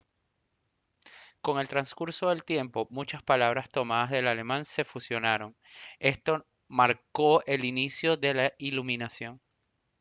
con el transcurso del tiempo muchas palabras tomadas del alemán se fusionaron esto marcó el inicio de la iluminación